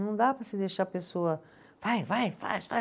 Não dá para se deixar a pessoa, vai, vai, faz, faz.